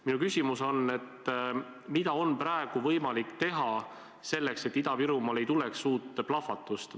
Minu küsimus on: mida on praegu võimalik teha selleks, et Ida-Virumaal ei tuleks suurt plahvatust?